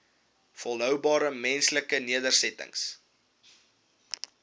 volhoubare menslike nedersettings